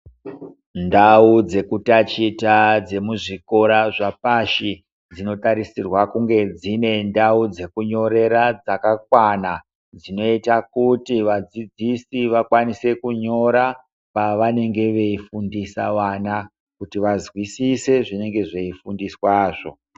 Ndau dzekutachita dzemuzvikora zvapashi dzinotarisirwa kunge dzine ndau dzekunyorera dzakakwana. Dzinoita kuti vadzidzisi vakwanise kunyora pavanenge veyifundisa wana kuti vazvisise zvinenge zveyifundiswa zo.